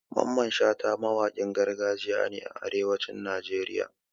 Mamman Shata mawakin gargajiya ne a arewacin Najeriya